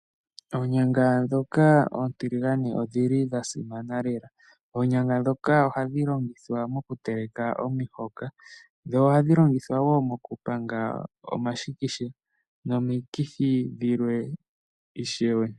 Oonyanga ndhoka oontiligane odhi li dha simana lela. Oonyanga ndhoka ohadhi longithwa mokuteleka omihoka. Dho ohadhi longithwa wo mokupanga omashikisha nomikithi dhilwe ishewe.